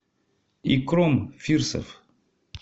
икром фирсов